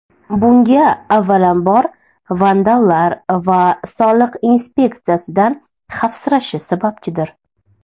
Bunga avvalambor, vandallar va soliq inspeksiyasidan xavfsirashi sababchidir.